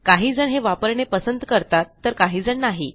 काही जण हे वापरणे पसंत करतात तर काहीजण नाही